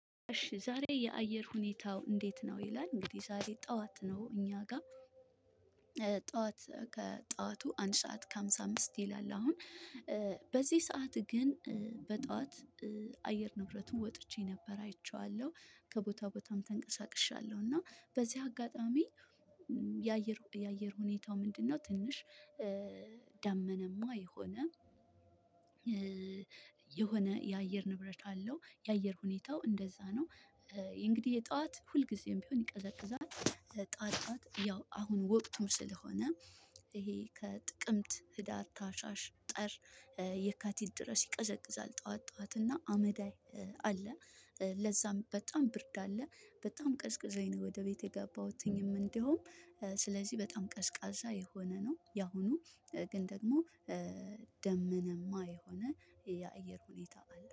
እሺ ዛሬ የአየር ሁኔታው እንዴት ነው? ይላል እንግዲህ ዛሬ ጠዋት ነው እኛ ጋር። ጠዋት ከጠዋቱ አንድ ሰዓት ከሃምሳ አምስት ይላል አሁን። በዚህ ሰዓት ግን። በጠዋት አየር ንብረቱን ወጥቼ ነበረ አይቼዋለሁ ከቦታ ቦታም ተንቀሳቅሻለሁ እና በዚህ አጋጣሚ። የአየር የአየር ሁኔታው ምንድነው? ትንሽ ደመናማ የሆነ። የሆነ የአየር ንብረት አለው የአየር ሁኔታው እንደዛ ነው። እንግዲህ የጧት ሁልጊዜም ቢሆን ይቀዘቅዛል። ጧት ጧት ያው አሁን ወቅቱም ስለሆነ። ይሄ ከጥቅምት ህዳር ታህሳሰ ጥር የካቲት ድረስ ይቀዘቅዛል ጠዋት ጠዋት እና አመዳይ። አለ ለዛም በጣም ብርድ አለ። በጣም ቀዝቅዞኝ ነው። ወደ ቤት የገባሁትኝም እንደውም ስለዚህ በጣም ቀዝቃዛ የሆነ ነው። ያሁኑ ግን ደግሞ ደመናማ የሆነ የአየር ሁኔታ አለ